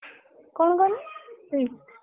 କଣ କହନି?